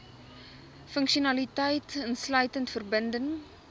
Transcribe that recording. funksionaliteit insluitend verbinding